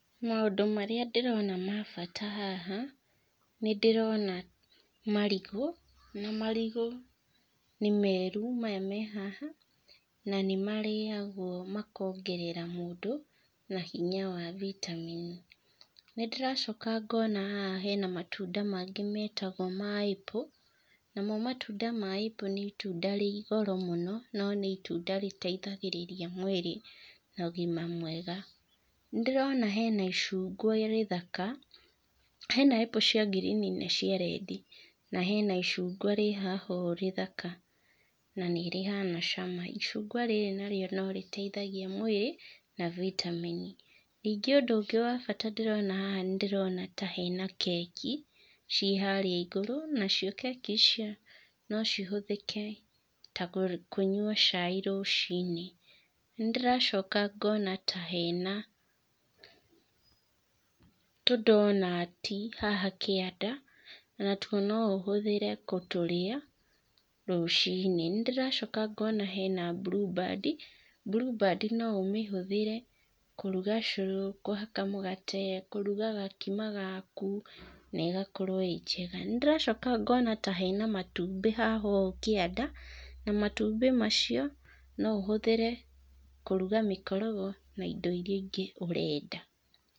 Maũndũ marĩa ndĩrona ma bata haha, nĩ ndĩrona marigũ, na marigũ nĩ meru maya me haha na nĩ marĩagwo makongerera mũndũ na hinya wa vitamin. Nĩ ndĩracoka ngona haha hena matunda mangĩ metagwo ma Apple namo matunda ma Apple nĩ itunda rĩ goro mũno no nĩ itunda rĩteithagĩrĩria mwĩrĩ na ũgima mwega. Nĩ ndĩrona hena icungwa rĩthaka, hena Apple cia greeen na cia rendi na hena icungwa haha ũũ rĩthaka na nĩ rĩhana cama. Icungwa rĩrĩ narĩo no rĩteithagia mwĩrĩ na vitamin. Ningĩ ũndũ wa bata ndĩrona haha nĩ ndĩrona ta hena keki ciĩ harĩa igũrũ, nacio keki icio no cihũthĩke ta kũnyua chai rũciinĩ. Nĩ ndĩracoka ngona ta hena tũndonati haha kĩanda ona tuo no ũhũthĩre gũtũrĩa rũciinĩ. Nĩ ndĩracoka ngona hena BlueBand, BlueBand no ũmĩhũthĩre kũruga cũrũ, kũhaka mũgate, kũruga gakima gaku negakorwo ĩ njega. Nĩ ndĩracoka ngona ta hena matumbĩ haha ũũ kĩanda na matumbĩ macio no ũhũthĩre kũruga mĩkorogo na indo iria ingĩ ũrenda.